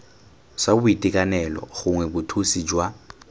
sa boitekanelo gongwe bothusi jwa